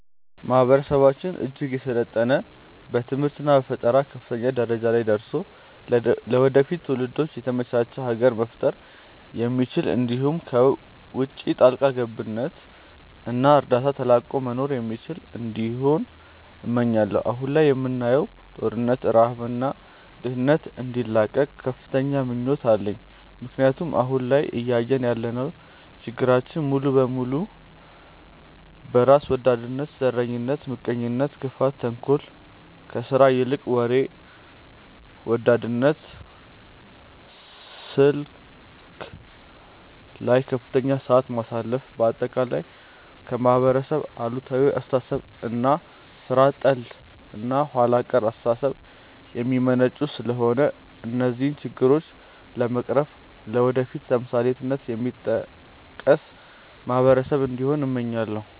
ማህበረሰባችን እጅግ የሰለጠነ በትምህርት እና በፈጠራ ከፍተኛ ደረጃ ላይ ደርሶ ለወደፊት ትውልዶች የተመቻች ሀገር መፍጠር የሚችል እንዲሁም ከውቺ ጣልቃ ገብነት እና እርዳታ ተላቆ መኖር የሚችል እንዲሆን እመኛለው። አሁን ላይ የምናየውን ጦርነት፣ ረሃብ እና ድህነት እንዲላቀቅም ከፍተኛ ምኞት አለኝ ምክንያቱም አሁን ላይ እያየን ያለናቸው ችግሮች ሙሉ በሙሉ በራስ ወዳድነት፣ ዘረኝነት፣ ምቀኝነት፣ ክፋት፣ ተንኮል፣ ከስራ ይልቅ ወሬ ወዳድነት፣ ስልክ ላይ ከፍተኛ ሰዓት ማሳለፍ፣ በአጠቃላይ ከማህበረሰብ አሉታዊ አስተሳሰብ እና ሥራ ጠል እና ኋላ ቀር አስተሳሰብ የሚመነጩ ስለሆነ እነዚህን ችግሮች በመቅረፍ ለወደፊት በተምሳሌትነት የሚጠቀስ ማህበረሰብ እንዲሆን እመኛለው።